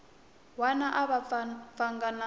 wana a va pfanga na